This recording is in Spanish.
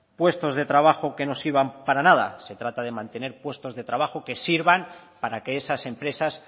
puestos de trabajo que no sirvan para nada se trata de mantener puestos de trabajo que sirvan para que esas empresas